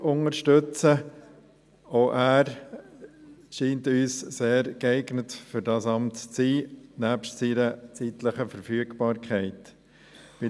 Auch er scheint uns, nebst seiner zeitlichen Verfügbarkeit, für dieses Amt sehr geeignet.